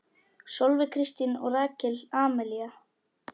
Sólveig Kristín og Rakel Amelía.